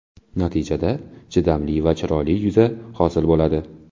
Natijada, chidamli va chiroyli yuza hosil bo‘ladi.